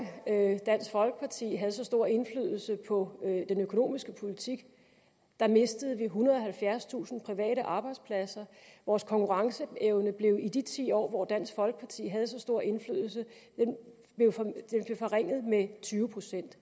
dansk folkeparti havde så stor indflydelse på den økonomiske politik mistede vi ethundrede og halvfjerdstusind private arbejdspladser og vores konkurrenceevne blev i de ti år hvor dansk folkeparti havde så stor indflydelse forringet med tyve procent